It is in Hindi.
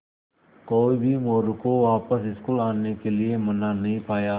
कोई भी मोरू को वापस स्कूल आने के लिये मना नहीं पाया